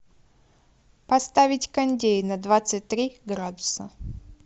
поставить кондей на двадцать три градуса